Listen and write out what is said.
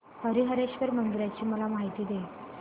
हरीहरेश्वर मंदिराची मला माहिती दे